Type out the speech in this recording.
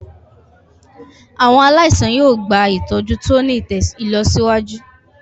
Àwọn aláìsàn yóò gba ìtọ́jú tó ti ní ìlọsíwájú.